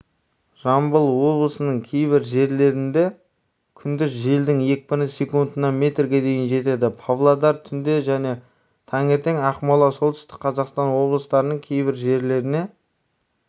жамбыл облысының кейбір жерлерінде күндіз желдің екпіні секундына метрге дейін жетеді павлодар түнде және таңертең ақмола солтүстік қазақстан облыстарының кейбір жерлеріне